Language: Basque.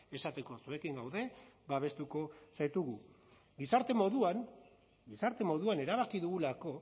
esateko zuekin gaude babestuko zaitugu gizarte moduan gizarte moduan erabaki dugulako